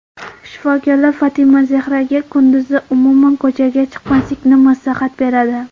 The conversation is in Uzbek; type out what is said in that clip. Shifokorlar Fatimazehraga kunduzi umuman ko‘chaga chiqmaslikni maslahat beradi.